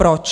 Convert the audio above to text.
Proč?